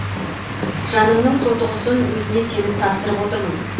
жанымның тоты құсын өзіңе сеніп тапсырып отырмын